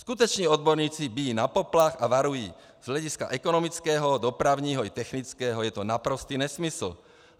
Skuteční odborníci bijí na poplach a varují: Z hlediska ekonomického, dopravního i technického je to naprostý nesmysl.